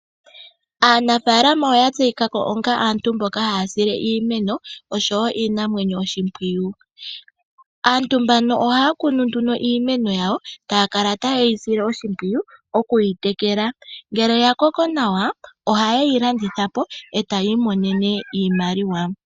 Aanafalama oyatseyikako onga aantu mboka haya sile iimeno, oshowo iinamwenyo oshimpwiyu. Aantu mbano ohaya kunu nduno iimeno yawo, taya kala tayeyi sile oshimpwiyu, okuyi tekela. Ngele yakoko nawa, ohayeyi landithapo, e taayi monene iimaliwa.